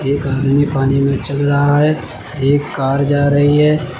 एक आदमी पानी में चल रहा है एक कार जा रही है।